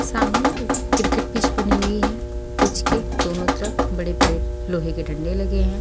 सामने एक cricket pitch बनी हुई है पिच के दोनों तरफ बड़े बड़े लोहे के डंडे लगे हैं।